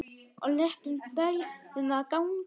Og létum dæluna ganga.